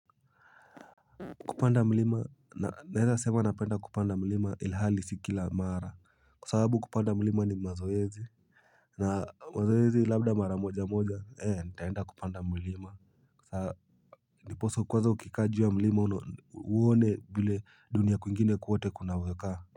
Kupanda mlima naweza sema napenda kupanda mlima ilhali si kila mara kwa sababu kupanda mlima ni mazoezi na mazoezi labda mara moja moja ee nitaenda kupanda mlima ndiposa kwanza ukikaa juu ya mlima uone vile dunia kwingine kwote kunavyokaa.